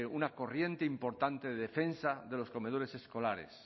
una corriente importante de defensa de los comedores escolares